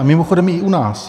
A mimochodem i u nás.